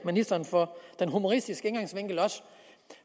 ministeren for den humoristiske indgangsvinkel